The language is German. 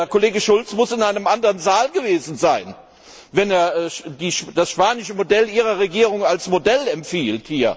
Kollege Schulz muss in einem anderen Saal gewesen sein, wenn er das spanische Modell Ihrer Regierung hier als Modell empfiehlt!